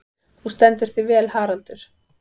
Þú stendur þig vel, Haddur!